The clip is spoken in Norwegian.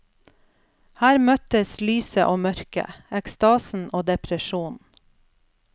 Her møttes lyset og mørket, ekstasen og depresjonen.